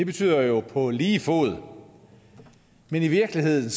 betyder jo på lige fod men i virkeligheden